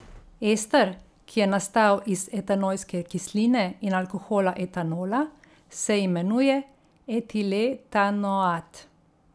Ester, ki je nastal iz etanojske kisline in alkohola etanola, se imenuje etiletanoat.